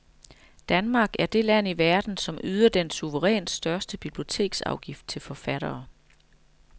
Danmark er det land i verden, som yder den suverænt største biblioteksafgift til forfattere.